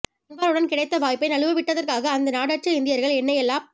அன்வாருடன் கிடைத்த வாய்ப்பை நழுவ விட்டதற்காக அந்த நாடற்ற இந்தியர்கள் என்னை எல்லாப்